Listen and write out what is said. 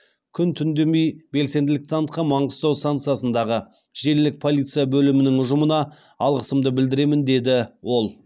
күн түндемей белсенділік танытқан маңғыстау станциясындағы желілік полиция бөлімінің ұжымына алғысымды білдіремін дед ол